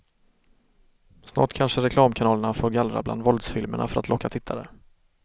Snart kanske reklamkanalerna får gallra bland våldsfilmerna för att locka tittare.